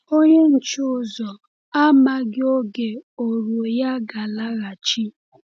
Onye nche ụzọ amaghị oge ọ̀rụ̀ọ̀ ya ga-alaghachi.